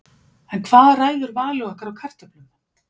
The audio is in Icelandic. En hvað ræður vali okkar á kartöflum?